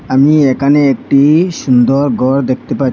আমি একানে একটি সুন্দর গর দেখতে পা--